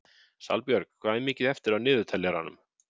Salbjörg, hvað er mikið eftir af niðurteljaranum?